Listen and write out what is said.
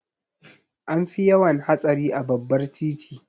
An fi yawan hatsari a babbar titi.